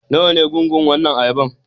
Nawa ne gungun wannan ayaban?